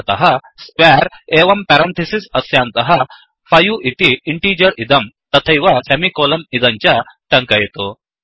अतः squareस्क्वेर् एवं पेरन्थिसिस् अस्यान्तः 5 इति इण्टीजर् इदं तथैव सेमिकोलन् इदं च टङ्कयतु